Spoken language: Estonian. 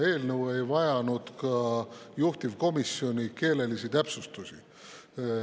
Eelnõu ei vajanud ka juhtivkomisjoni keelelisi täpsustusi.